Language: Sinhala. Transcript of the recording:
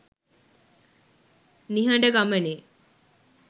nihada gamane